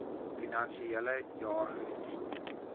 finansiele jaar geskied